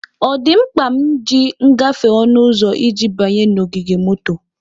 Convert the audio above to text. O di mkpa m ji ngafe onu uzo iji banye n'ogige moto?